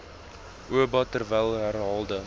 oba terwyl herhaalde